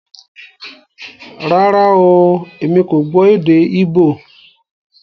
Rárá oooo, èmi kò gbó èdè íbò